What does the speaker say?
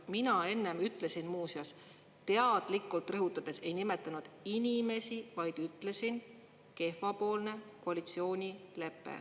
Mina enne muuseas teadlikult rõhutades ei nimetanud inimesi, vaid ütlesin: kehvapoolne koalitsioonilepe.